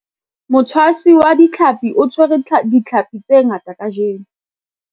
motshwasi wa ditlhapi o tshwere ditlhapi tse ngata kajeno.